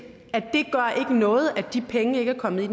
at noget at de penge ikke er kommet ind